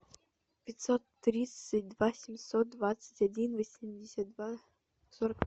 пятьсот тридцать два семьсот двадцать один восемьдесят два сорок